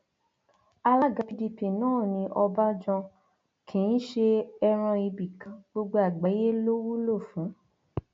alága pdp náà ní ọbánjọ kì í ṣe ẹran ibì kan gbogbo àgbáyé ló wúlò fún